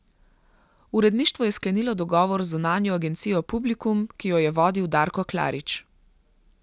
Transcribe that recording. Uredništvo je sklenilo dogovor z zunanjo agencijo Publikum, ki jo je vodil Darko Klarič.